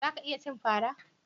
Za ka iya cin fara